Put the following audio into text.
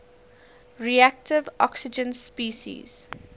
reactive oxygen species